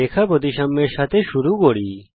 line of symmetry এর সঙ্গে শুরু করা যাক